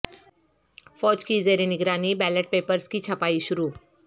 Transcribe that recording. فوج کی زیر نگرانی بیلٹ پیپرز کی چھپائی شروع